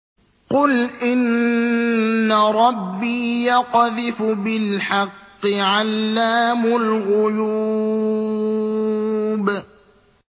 قُلْ إِنَّ رَبِّي يَقْذِفُ بِالْحَقِّ عَلَّامُ الْغُيُوبِ